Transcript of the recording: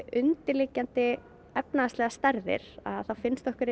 undirliggjandi efnahagslegar stærðir þá finnst okkur